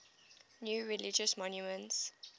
new religious movements